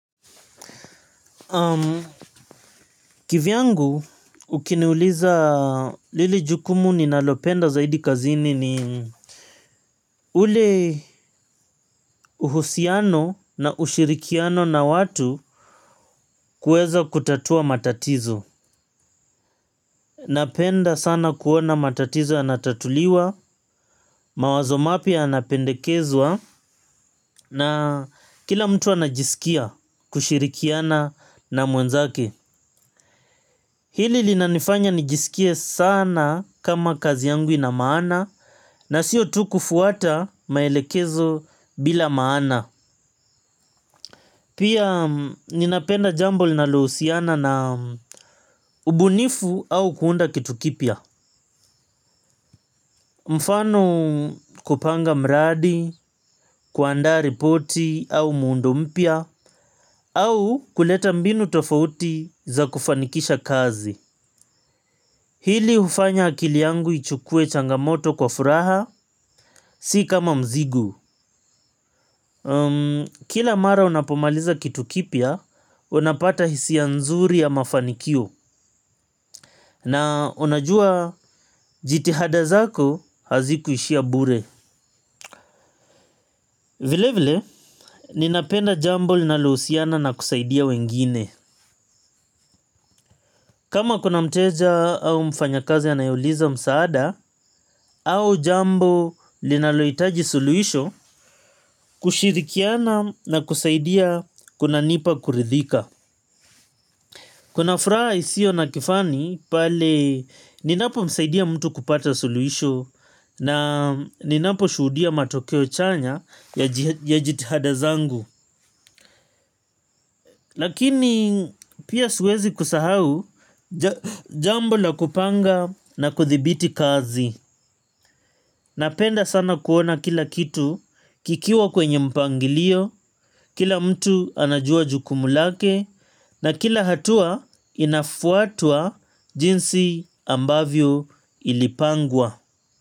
Kivi yangu ukiniuliza lili jukumu ninalopenda zaidi kazini ni ule uhusiano na ushirikiano na watu kueza kutatua matatizo. Napenda sana kuona matatizo yanatatuliwa, mawazo mapya yanapendekezwa na kila mtu anajisikia kushirikiana na mwenzake. Hili linanifanya nijisikie sana kama kazi yangu ina maana na siyo tu kufuata maelekezo bila maana. Pia ninapenda jambo linalohusiana na ubunifu au kuunda kitu kipya. Mfano kupanga mradi, kuandaa ripoti au muundo mpya au kuleta mbinu tofauti za kufanikisha kazi. Hili hufanya akili yangu ichukue changamoto kwa furaha, si kama mzigo. Kila mara unapomaliza kitu kipya, unapata hisia nzuri ya mafanikio. Na unajua, jitihada zako, hazikuishia bure. Vile vile, ninapenda jambo linalohusiana na kusaidia wengine. Kama kuna mteja au mfanyakazi anayeuliza msaada, au jambo linalohitaji suluisho kushirikiana na kusaidia kunanipa kuridhika. Kuna fraha isio na kifani pale ninapomsaidia mtu kupata suluisho na ninaposhuhudia matokeo chanya ya jitihada zangu. Lakini pia siwezi kusahau jambo la kupanga na kuthibiti kazi. Napenda sana kuona kila kitu kikiwa kwenye mpangilio, kila mtu anajua jukumu lake na kila hatua inafuatwa jinsi ambavyo ilipangwa.